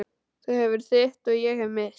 Þú hefur þitt og ég hef mitt.